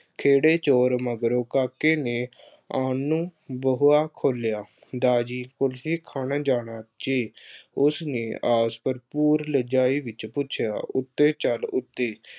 ਖੇੜੇ ਜ਼ੋਰ ਮਗਰੋਂ ਕਾਕੇ ਨੇ ਆਉਣ ਨੂੰ ਬੂਹਾ ਖੋਲ੍ਹਿਆ। ਦਾਰ ਜੀ ਕੁਲਫੀ ਖਾਣ ਜਾਣਾ ਜੀ। ਉਸਨੇ ਆਸ ਭਰਪੂਰ ਲਹਿਜ਼ਾਈ ਵਿੱਚ ਪੁੱਛਿਆ। ਉੱਤੇ ਚੱਲ ਉੱਤੇ